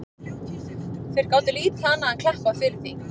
Þeir gátu lítið annað enn klappað fyrir því.